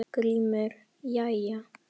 GRÍMUR: Jæja!